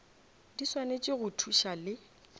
di swanetše go thuša le